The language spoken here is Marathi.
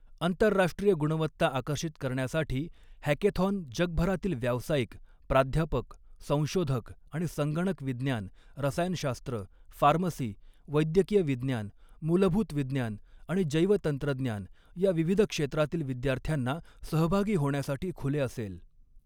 आंतरराष्ट्रीय गुणवत्ता आकर्षित करण्यासाठी, हॅकॆथॉन जगभरातील व्यावसायिक, प्राध्यापक, संशोधक आणि संगणक विज्ञान, रसायनशास्त्र, फार्मसी, वैद्यकीय विज्ञान, मूलभूत विज्ञान आणि जैवतंत्रज्ञान या विविध क्षेत्रातील विद्यार्थ्यांना सहभागी होण्यासाठी खुले असेल.